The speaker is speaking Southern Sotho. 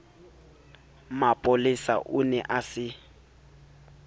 mapolesa o ne a se